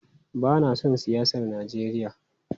Bana son siyasar Najeriya.